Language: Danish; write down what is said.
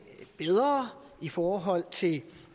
bedre i forhold til